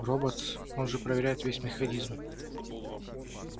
роботс он же проверяет весь механизм